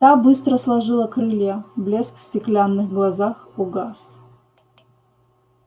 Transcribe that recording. та быстро сложила крылья блеск в стеклянных глазах угас